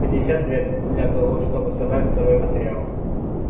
пятьдесят лет для того чтобы собрать сырой материал